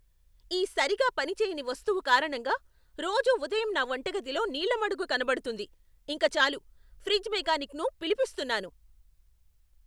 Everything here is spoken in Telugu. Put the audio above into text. ఈ సరిగా పనిచేయని వస్తువు కారణంగా రోజూ ఉదయం నా వంటగదిలో నీళ్ళ మడుగు కనబడుతుంది, ఇంక చాలు! ఫ్రిజ్ మెకానిక్ను పిలిపిస్తున్నాను.